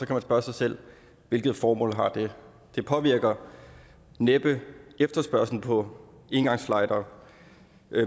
kan spørge sig selv hvilket formål har det det påvirker næppe efterspørgslen på engangslightere